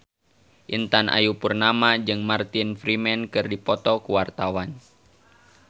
Intan Ayu Purnama jeung Martin Freeman keur dipoto ku wartawan